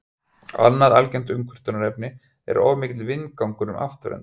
annað algengt umkvörtunarefni er of mikill vindgangur um afturendann